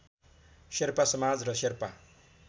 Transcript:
शेर्पा समाज र शेर्पा